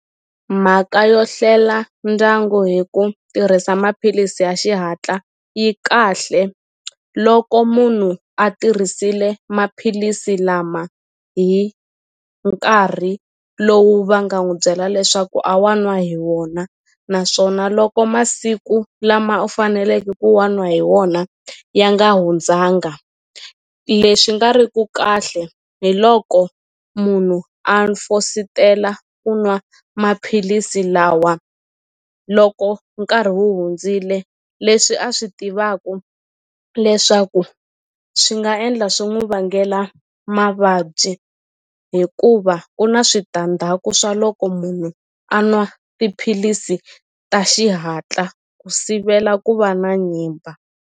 Mhaka yo hlela ndyangu hi ku tirhisa maphilisi ya xihatla yi kahle loko munhu a tirhisile maphilisi lama hi nkarhi lowu va nga n'wu byela leswaku a wa n'wa hi wona naswona loko masiku lama u faneleke ku wa n'wa hi wona ya nga hundzanga leswi nga ri ku kahle hi loko munhu a fositela ku nwa maphilisi lawa loko nkarhi wu hundzile leswi a swi tivaku leswaku swi nga endla swi n'wi vangela mavabyi hikuva ku na switandzhaku swa loko munhu a nwa tiphilisi ta xihatla ku sivela ku va na nyimba.